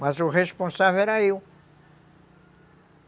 Mas o responsável era eu.